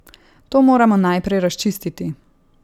To moramo najprej razčistiti.